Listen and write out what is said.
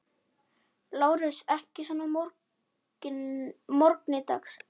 LÁRUS: Ekki svona að morgni dags.